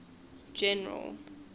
general